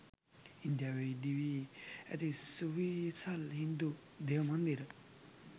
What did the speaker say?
ඉන්දියාවේ ඉදිවී ඇති සුවිසල් හින්දු දේවමන්දිර